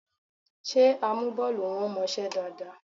Ṣé amúbọ́ọlù wọn mọṣẹ́ dáadáa?